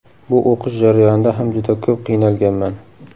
Bu o‘qish jarayonida ham juda ko‘p qiynalganman.